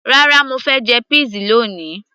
rárá, mo fẹ́ jẹ peas lóni